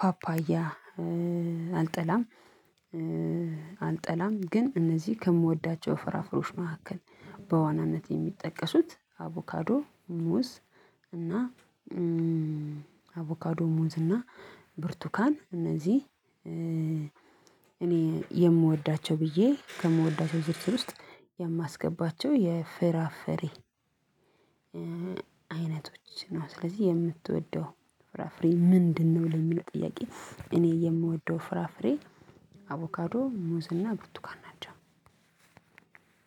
ፓፓያ። አልጠላም ግን እነዚህ ከምወዳቸው ፍራፍሬዎች መካከል በዋናነት የሚጠቀሱት አቮካዶ ሙዝ። እና አቮካዶ ሙዝ እና ብርቱካን እነዚህ እኔ የምወዳቸው ብዬ ከምወዳቸው ዝርዝር ውስጥ የማስገባቸው የፍራፍሬ አይነቶች ነው። ስለዚህ የምትወደው ፍራፍሬ ምንድነው? የሚለው ጥያቄ እኔ የምወደው ፍራፍሬ አቮካዶ ሙዝና ብርቱካን ናቸው።